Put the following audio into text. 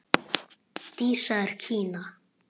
Dísa í Kína.